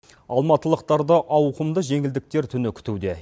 алматылықтарды ауқымды жеңілдіктер түні күтуде